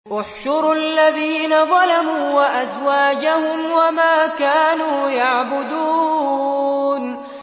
۞ احْشُرُوا الَّذِينَ ظَلَمُوا وَأَزْوَاجَهُمْ وَمَا كَانُوا يَعْبُدُونَ